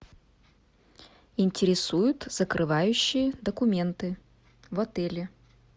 интересует закрывающие документы в отеле